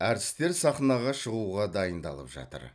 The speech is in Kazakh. әртістер сахнаға шығуға дайындалып жатыр